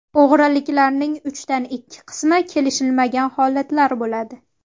O‘g‘riliklarning uchdan ikki qismi kelishilmagan holatlar bo‘ladi.